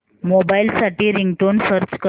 mobile साठी ringtone search कर